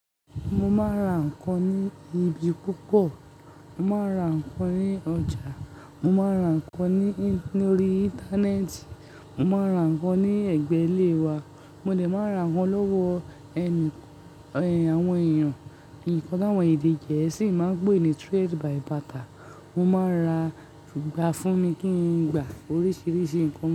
Mo máa ń ra ǹkan ní ibi púpọ̀. Mo máa ń ra ǹkan ní ọjà. Mo máa ń ra ǹkan ní, ní orí Íńtánẹ́ẹ̀tì. Mo máa ń ra ǹkan ní ẹ̀gbẹ́ ilé wa. Mo dẹ máa ra ǹkan lọ́wọ́ ẹni, ẹ́, àwọn èèyàn. Nkan tawọn èdè Gẹ̀ẹ́sì máa ń pè é ní trade by barter. Mo máa n ra, gba fún mi kí n gba oríṣiríṣi ǹkan.